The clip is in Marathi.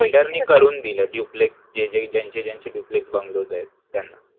builder नि करून दिलाय जे जे ज्यांचे ज्यांचे duplex bungalow आहेत त्यांना